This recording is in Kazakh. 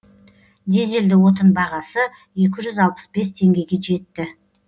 дизельді отын бағасы екі жүз алпыс бес теңгеге жетті